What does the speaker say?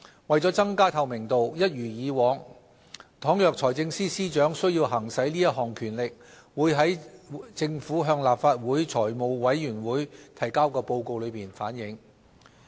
為了增加透明度，一如往常，倘若財政司司長需要行使這項權力，會在政府向立法會財務委員會提交的報告中反映。